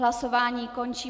Hlasování končím.